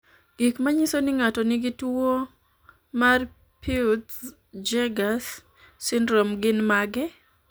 Gik manyiso ni ng'ato nigi tuwo mar Peutz Jeghers syndrome gin mage?